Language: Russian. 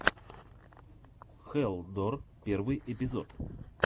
хэлл дор первый эпизод